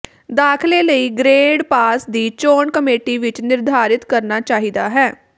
ਦਾਖਲੇ ਲਈ grade pass ਦੀ ਚੋਣ ਕਮੇਟੀ ਵਿੱਚ ਨਿਰਧਾਰਿਤ ਕਰਨਾ ਚਾਹੀਦਾ ਹੈ